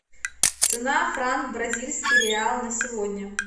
цена франк бразильский реал на сегодня